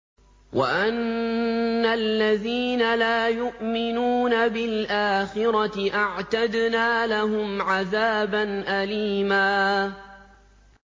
وَأَنَّ الَّذِينَ لَا يُؤْمِنُونَ بِالْآخِرَةِ أَعْتَدْنَا لَهُمْ عَذَابًا أَلِيمًا